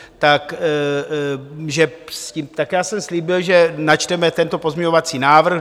Tak já jsem slíbil, že načteme tento pozměňovací návrh.